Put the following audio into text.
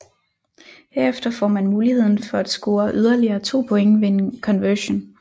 Herefter får man muligheden for at score yderligere to point ved en conversion